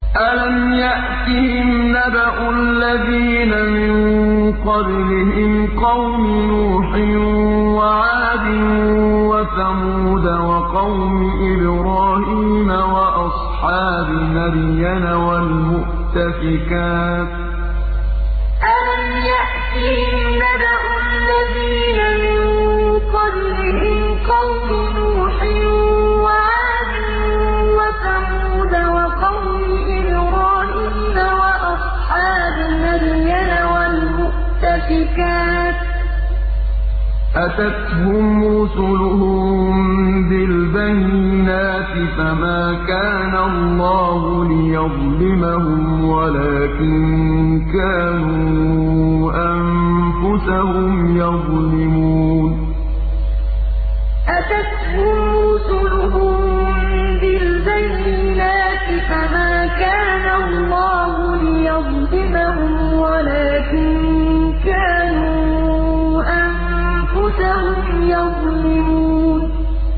أَلَمْ يَأْتِهِمْ نَبَأُ الَّذِينَ مِن قَبْلِهِمْ قَوْمِ نُوحٍ وَعَادٍ وَثَمُودَ وَقَوْمِ إِبْرَاهِيمَ وَأَصْحَابِ مَدْيَنَ وَالْمُؤْتَفِكَاتِ ۚ أَتَتْهُمْ رُسُلُهُم بِالْبَيِّنَاتِ ۖ فَمَا كَانَ اللَّهُ لِيَظْلِمَهُمْ وَلَٰكِن كَانُوا أَنفُسَهُمْ يَظْلِمُونَ أَلَمْ يَأْتِهِمْ نَبَأُ الَّذِينَ مِن قَبْلِهِمْ قَوْمِ نُوحٍ وَعَادٍ وَثَمُودَ وَقَوْمِ إِبْرَاهِيمَ وَأَصْحَابِ مَدْيَنَ وَالْمُؤْتَفِكَاتِ ۚ أَتَتْهُمْ رُسُلُهُم بِالْبَيِّنَاتِ ۖ فَمَا كَانَ اللَّهُ لِيَظْلِمَهُمْ وَلَٰكِن كَانُوا أَنفُسَهُمْ يَظْلِمُونَ